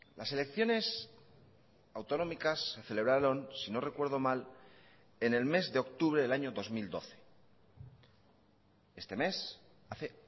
las elecciones autonómicas se celebraron si no recuerdo mal en el mes de octubre del año dos mil doce este mes hace